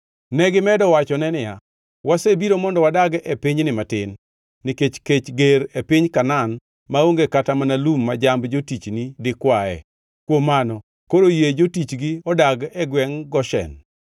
Negimedo wachone niya, “Wasebiro mondo wadag e pinyni matin, nikech kech ger e piny Kanaan maonge kata mana lum ma jamb jotichni dikwae. Kuom mano, koro yie jotichgi odag e gwengʼ Goshen.”